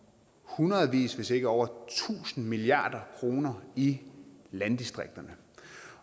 hundredevis hvis ikke over tusinde milliarder kroner i landdistrikterne